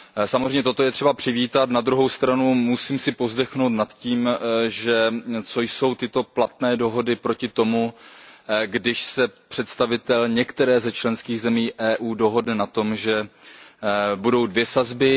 Samozřejmě toto je třeba přivítat, na druhou stranu si musím povzdechnout nad tím, že co jsou tyto platné dohody proti tomu, když se představitel některé ze členských zemí EU dohodne na tom, že budou dvě sazby.